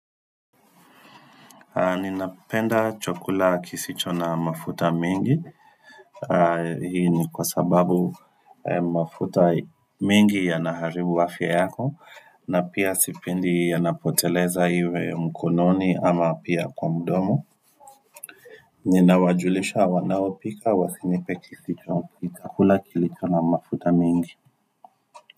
Ninapenda chakula kisicho na mafuta mingi Hii ni kwa sababu mafuta mingi yanaharibu afia yako na pia sipendi yanapoteleza iwe mkononi ama pia kwa mdomo Ninawajulisha wanaopika wasinipe kisicho mpika kula kilicho na mafuta mingi.